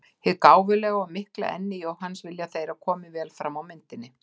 Hið gáfulega og mikla enni Jóhanns vilja þeir að komi vel fram á myndinni.